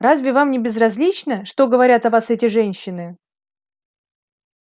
разве вам не безразлично что говорят о вас эти женщины